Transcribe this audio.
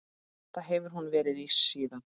Það hefur hún verið síðan.